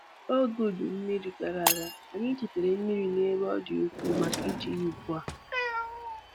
N'oge udu mmiri gara aga, anyị chetara mmiri n'ebe ọ dị ukwuu maka iji ya ugbu a